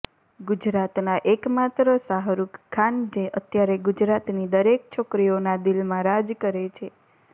ગુજરાતનાં એકમાત્ર શાહરૂકખાન જે અત્યારે ગુજરાતની દરેક છોકરીઓનાં દિલમાં રાજ કરે છે